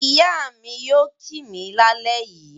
Ìyá mi yóò kì mí lálẹ́ yìí.